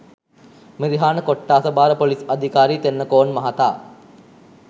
මිරිහාන කොට්‌ඨාස භාර පොලිස්‌ අධිකාරි තෙන්නකෝන් මහතා